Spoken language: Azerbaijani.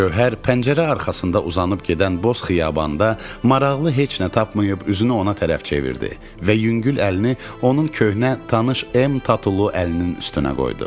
Gövhər pəncərə arxasında uzanıb gedən boz xiyabanda maraqlı heç nə tapmayıb üzünü ona tərəf çevirdi və yüngül əlini onun köhnə, tanış M tatulu əlinin üstünə qoydu.